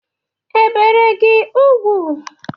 E bere gị ugwu?